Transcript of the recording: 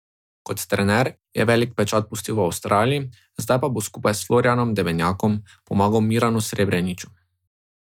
Kot trener je velik pečat pustil v Avstraliji zdaj pa bo skupaj s Florijanom Debenjakom pomagal Miranu Srebrniču.